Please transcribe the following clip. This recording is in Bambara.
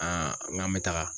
n k'an bɛ taga.